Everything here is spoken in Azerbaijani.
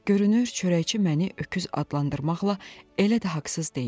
Görünür, çörəkçi məni öküz adlandırmaqla elə də haqsız deyildi.